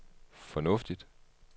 fornuftigt